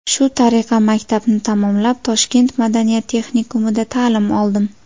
Shu tariqa maktabni tamomlab, Toshkent madaniyat texnikumida ta’lim oldim.